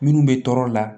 Minnu bɛ tɔɔrɔ la